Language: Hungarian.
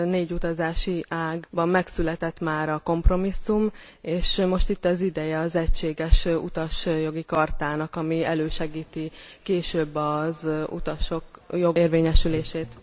Négy utazási ágban megszületett már a kompromisszum, és most itt az ideje az egységes utasjogi chartának, ami elősegíti később az utasjogok érvényesülését.